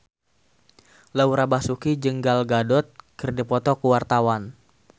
Laura Basuki jeung Gal Gadot keur dipoto ku wartawan